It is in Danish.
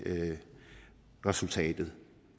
resultatet